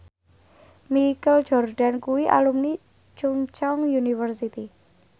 Michael Jordan kuwi alumni Chungceong University